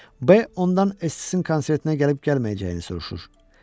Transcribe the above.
B ondan Essin konsertinə gəlib gəlməyəcəyini soruşur.